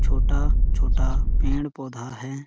छोटा -छोटा पेड-़ पौधा हैं ।